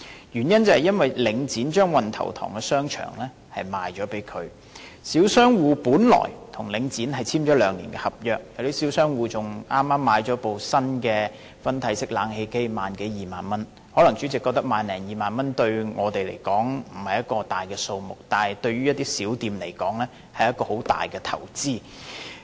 原因是領展將運頭塘邨的商場售給這新業主，小商戶本來已跟領展簽訂兩年合約，更有小商戶剛用了萬多二萬元購買一部新的分體式冷氣機，可能主席覺得萬多二萬元對我們來說不是一個大數目，但對於一些小店來說，卻是很大的投資。